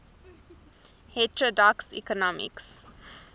heterodox economics